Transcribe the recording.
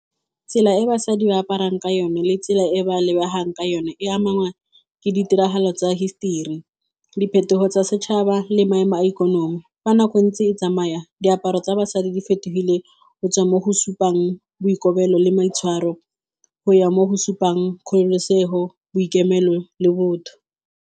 Tsela e basadi ba aparang ka yone le tsela e ba lebegang ka yone e amangwa ke ditiragalo tsa history, diphetogo tsa setšhaba le maemo a ikonomi. Fa nako e ntse e tsamaya, diaparo tsa basadi di fetogile go tswa mo go supang boikobelo le maitshwaro go ya mo go supang kgololosego, boikemelo le botho.